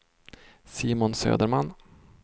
Simon Söderman